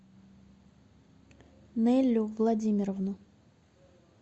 неллю владимировну